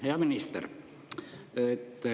Hea minister!